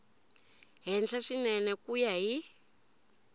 henhla swinene ku ya hi